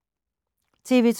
TV 2